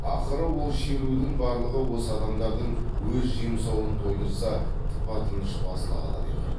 ақыры ол шерудің барлығы осы адамдардың өз жемсауын тойдырса тыпа тыныш басыла қалады екен